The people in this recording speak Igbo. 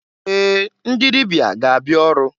Ee! Ndị dịbịa ga-abịa ọrụ.